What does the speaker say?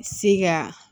Se ka